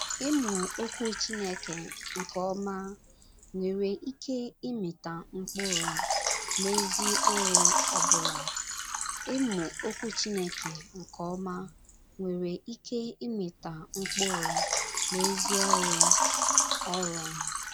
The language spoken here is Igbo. Ịmụ Okwu Chineke nke ọma nwere ike ịmịta mkpụrụ, n’ezi ọrụ ọbụla. ”Ịmụ Okwu Chineke nke ọma nwere ike ịmịta mkpụrụ n’ezi ọrụ ọrụ. ”